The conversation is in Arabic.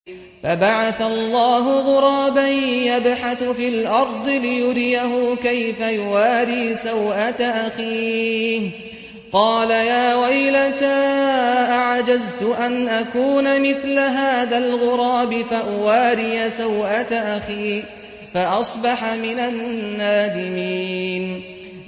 فَبَعَثَ اللَّهُ غُرَابًا يَبْحَثُ فِي الْأَرْضِ لِيُرِيَهُ كَيْفَ يُوَارِي سَوْءَةَ أَخِيهِ ۚ قَالَ يَا وَيْلَتَا أَعَجَزْتُ أَنْ أَكُونَ مِثْلَ هَٰذَا الْغُرَابِ فَأُوَارِيَ سَوْءَةَ أَخِي ۖ فَأَصْبَحَ مِنَ النَّادِمِينَ